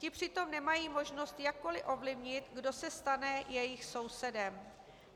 Ti přitom nemají možnost jakkoliv ovlivnit, kdo se stane jejich sousedem.